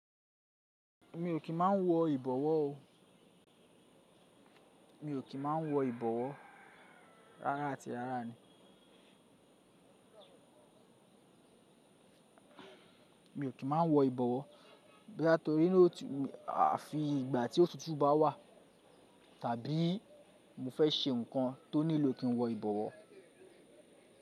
Mi ò kí ń má n wọ ìbọ̀wọ́ ọ. Mi ò kí má n wọ ìbọ̀wọ́ rárá àti rárá ni. Mi ò kí má wọ ìbọ̀wọ́, booya n tórí ní òtún, àfi ìgbà tí otutu bá wà, tàbí mo fẹ́ ṣe nǹkan tó nílò kí n wọ ìbọ̀wọ́.